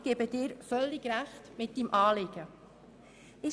– Ich gebe Roland Näf völlig Recht, was dieses Anliegen betrifft.